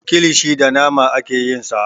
Kilishi da nama ake yin sa.